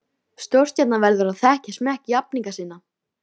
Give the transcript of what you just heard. Áður en ég var lokuð inni var ímyndunin gnægtabrunnur.